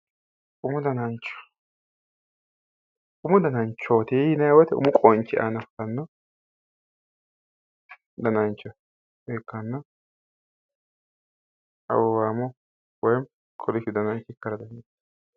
umu danancho umu dananchooti yinanni wote umu aana fulanno danancho ikkanno awuuwaamo woy kolishsho danancho ikkara dandaanno.